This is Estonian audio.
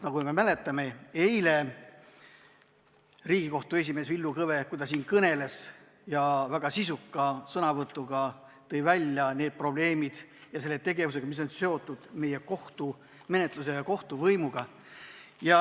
Nagu me mäletame, eile tõi Riigikohtu esimees Villu Kõve, kui ta siin väga sisuka sõnavõtuga esines, välja need probleemid ja selle tegevuse, mis on seotud meie kohtumenetluse ja kohtuvõimuga.